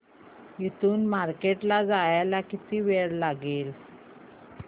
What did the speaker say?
इथून मार्केट ला जायला किती वेळ लागेल